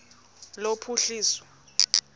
lophuhliso